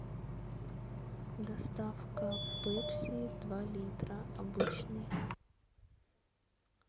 доставка пепси два литра обычный